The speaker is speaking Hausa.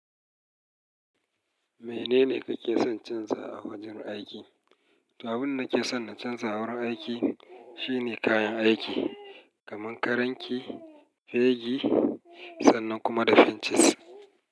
Menene kake son canza a wajen aiki? Abinda nake son na canza a wurin aiki shine kayan aiki, kamar karanki, fegi sannan kuma da fincis.